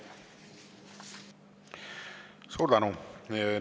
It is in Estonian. Suur tänu!